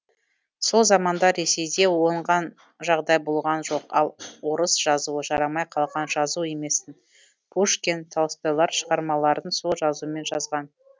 сол заманда ресейде оңған жағдай болған жоқ ал орыс жазуы жарамай қалған жазу еместін пушкин толстойлар шығармаларын сол жазумен жазған